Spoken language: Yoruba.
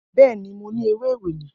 Bẹẹni, mo ni ewe ewele.